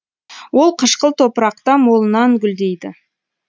ол қышқыл топырақта молынан гүлдейді